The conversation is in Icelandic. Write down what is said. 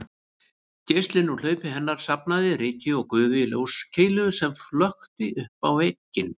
Geislinn úr hlaupi hennar safnaði ryki og gufu í ljóskeilu sem flökti uppá vegginn